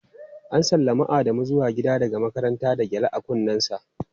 ​​An sallami Adamu zuwa gida daga makaranta da gyale a kunnensa.